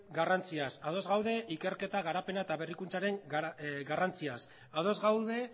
garrantziaz ados gaude ikerketa garapena eta berrikuntzaren garrantziaz ados gaude